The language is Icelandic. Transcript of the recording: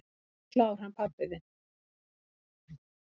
"""Hann er klár, hann pabbi þinn."""